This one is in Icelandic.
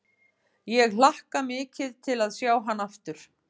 Ég hlakka mikið til að sjá hann aftur.